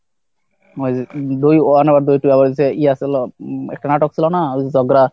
দুই one over দুই এ ছিলো একটা নাটক ছিল না?